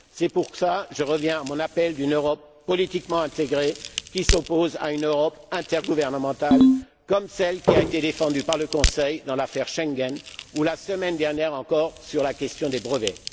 C'est pour cela que je reviens à mon appel d'une Europe politiquement intégrée qui s'oppose à une Europe intergouvernementale, comme celle qui a été défendue par le Conseil dans l'affaire Schengen ou, la semaine dernière encore, sur la question des brevets.